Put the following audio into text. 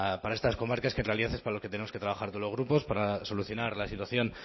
para estas comarcas que en realidad es para los que tenemos que trabajar los grupos para solucionar la situación